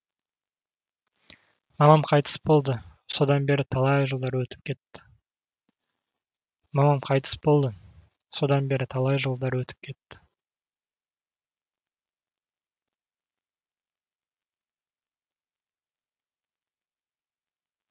мамам қайтыс болды содан бері талай жылдар өтіп кетті